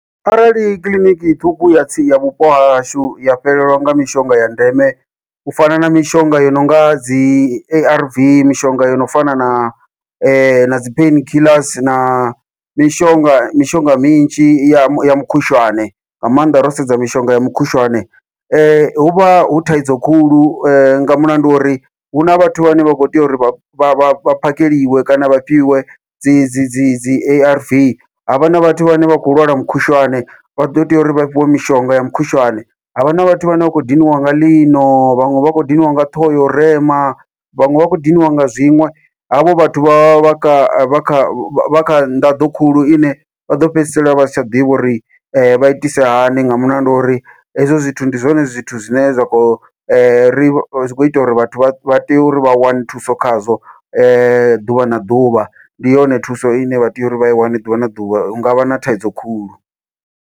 Arali kiḽiniki ṱhukhu ya tsini ya vhupo hahashu ya fhelelwa nga mishonga ya ndeme u fana na mishonga yo nonga dzi A_R_V, mishonga yo no fana na na dzi pain kiḽasi na mishonga mishonga minzhi ya mukhushwane nga maanḓa ro sedza mishonga ya mukhushwane, huvha hu thaidzo khulu nga mulandu wa uri huna vhathu vhane vha kho tea uri vha vha vha phakheliwe kana vha fhiwe dzi dzi dzi dzi A_R_V, havha na vhathu vhane vha khou lwala mukhushwane vha ḓo teya uri vha fhiwe mishonga ya mukhushwane, havha na vhathu vhane vha khou diniwa nga ḽino. Vhaṅwe vha khou diniwa nga ṱhoho ya u rema vhaṅwe vha khou diniwa nga zwiṅwe, havho vhathu vha vha kha kha kha nḓaḓo khulu ine vha ḓo fhedzisela vha si tsha ḓivha uri vha itise hani nga mulandu wa uri hezwo zwithu ndi zwone zwithu zwine zwa kho ri kho ita uri vhathu vha tea uri vha wane thuso khazwo ḓuvha na ḓuvha, ndi yone thuso ine vha tea uri vha i wane ḓuvha na ḓuvha hu ngavha na thaidzo khulu.